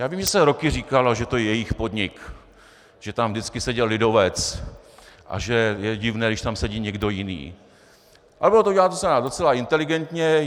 Já vím, že se roky říkalo, že to je jejich podnik, že tam vždycky seděl lidovec a že je divné, když tam sedí někdo jiný, ale bylo to uděláno docela inteligentně.